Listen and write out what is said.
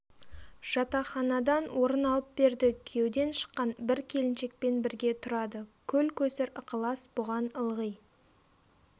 жатақханадан орын алып берді күйеуден шыққан бір келіншекпен бірге тұрады көл-көсір ықылас бұған ылғи